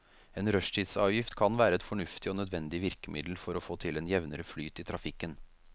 En rushtidsavgift kan være et fornuftig og nødvendig virkemiddel for å få til en jevnere flyt i trafikken.